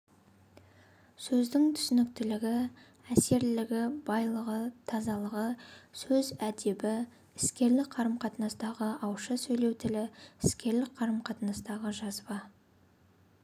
сөздің түсініктілігі әсерлілігі байлығы тазалығы сөз әдебі іскерлік қарым-қатынастағы ауызша сөйлеу тілі іскерлік қарым-қатынастағы жазба